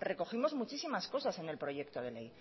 recogimos muchísimas cosas en el proyecto de ley